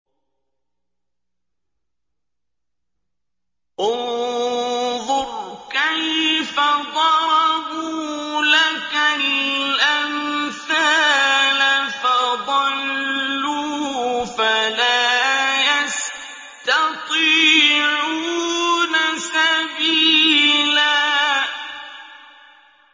انظُرْ كَيْفَ ضَرَبُوا لَكَ الْأَمْثَالَ فَضَلُّوا فَلَا يَسْتَطِيعُونَ سَبِيلًا